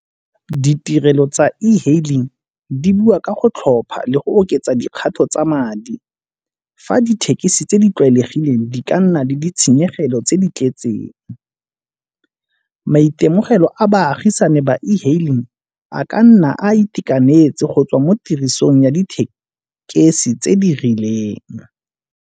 Ditirelo tsa e-hailing di bua ka go tlhopha le go oketsa dikgato tsa madi. Fa dithekisi tse di tlwaelegileng di ka nna le ditshenyegelo tse di tletseng. Maitemogelo a baagisane ba e-hailing a ka nna a itekanetse go tswa mo tirisong ya dithekesi tse di rileng.